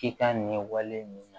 K'i ka ɲɛwale mina